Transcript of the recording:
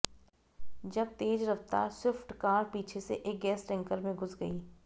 जब तेज रफ्तार स्विफ्ट कार पीछे से एक गैस टैंकर में घुस गई